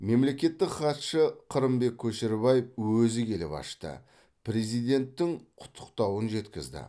мемлекеттік хатшы қырымбек көшербаев өзі келіп ашып президенттің құттықтауын жеткізді